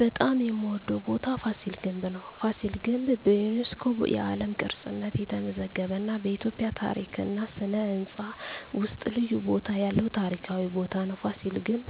በጣም የምዎደው ቦታ ፋሲል ግንብ ነው። ፋሲል ግንብ በዩኔስኮ የዓለም ቅርስነት የተመዘገበ እና በኢትዮጵያ ታሪክ እና ሥነ ሕንፃ ውስጥ ልዩ ቦታ ያለው ታሪካዊ ቦታ ነው። ፋሲል ግንብ